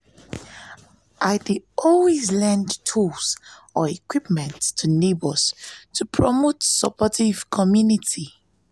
i dey lend tools or equipment to neighbors to promote supportive community.